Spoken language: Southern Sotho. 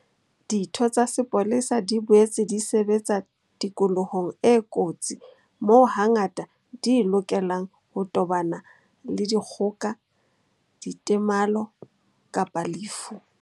Ditho tsa sepolesa di boetse di sebetsa tikolohong e kotsi moo hangata di lokelang ho tobana le dikgoka, ditemalo kapa lefu.